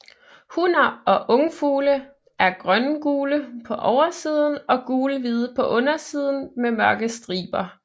Hunner og ungfugle er grøngule på oversiden og gulhvide på undersiden med mørke striber